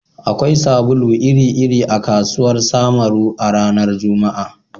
Akwai sabulu iri-iri a kasuwar Samaru a ranar Juma'a